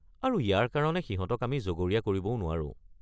আৰু ইয়াৰ কাৰণে সিহঁতক আমি জগৰীয়া কৰিবও নোৱাৰোঁ।